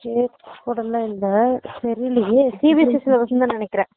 state board லாம் இல்ல தெரியலையே CBSE syllabus தான் நினைக்குறேன்